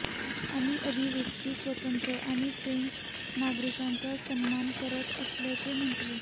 आम्ही अभिव्यक्ती स्वातंत्र्य आणि फ्रेंच नागरिकांचा सन्मान करत असल्याचे म्हटले